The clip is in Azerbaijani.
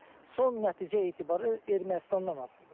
Son nəticə etibarilə Ermənistandan asılıdır.